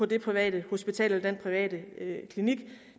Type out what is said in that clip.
det private hospital eller den private klinik